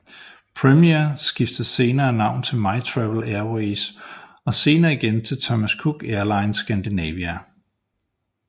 Premiair skiftede senere navn til MyTravel Airways og senere igen til Thomas Cook Airlines Scandinavia